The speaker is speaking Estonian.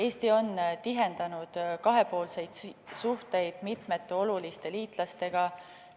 Eesti on tihendanud kahepoolseid suhteid mitmete oluliste liitlastega.